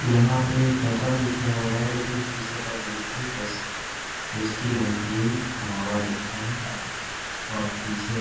यहाँ पे पता नही क्या हो रहा है लेकिन पीछे पतंजलि टेस्ट टेस्टिं नमकीन ढाबा लिखा है और पीछे